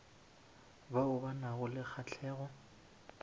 bao ba nago le kgahlego